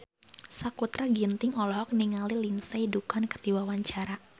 Sakutra Ginting olohok ningali Lindsay Ducan keur diwawancara